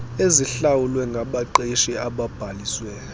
ezihlawulwe ngabaqeshi ababhaliswe